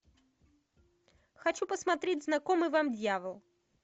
хочу посмотреть знакомый вам дьявол